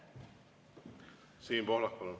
Siim Pohlak, palun!